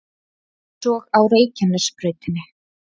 Eins og á Reykjanesbrautinni